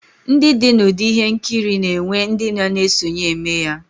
Ndi di na udi ihe nkiri na enwe ndi na na esonye emeya